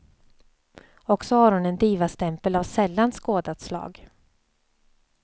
Och så har hon en divastämpel av sällan skådat slag.